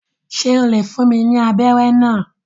Ṣe o le fún mí ní abẹrẹ náà?